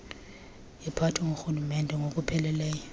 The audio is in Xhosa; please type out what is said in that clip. iphathwe ngurhulumente ngokupheleleyo